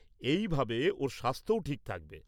-এই ভাবে ওর স্বাস্থ্যও ঠিক থাকবে।